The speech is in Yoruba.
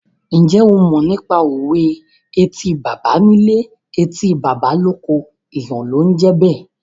Ǹjẹ́ o mọ nípa òwe "Etí baba nílé, etí baba lóko, èèyàn ló ń jẹ́ bẹ́ẹ̀?"